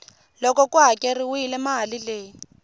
loko ku hakeriwile mali leyi